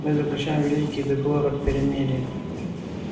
мы заключаем великий договор о перемирии